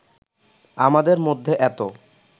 আমাদের মধ্যে এতো